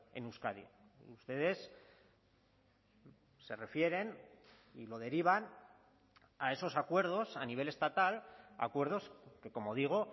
en euskadi ustedes se refieren y lo derivan a esos acuerdos a nivel estatal acuerdos que como digo